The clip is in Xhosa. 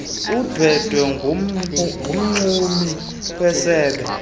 undwendwe ngumxumi wesebe